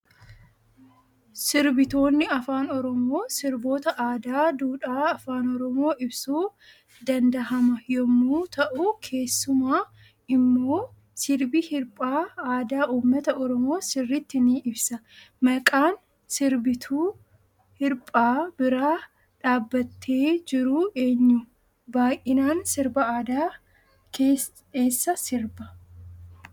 Sirbitoonni afaan oromoo sirboota aadaa duudhaa afaan oromoo ibsuu dandahama yommuu ta'u kessuma immo sirbi hirphaa aadaa uummata oromoo sirritti ni ibsa. maqaan sirbituu hirphaa bira dhaabbatee jiru eenyu baay'inaan sirba aada eessa sirba?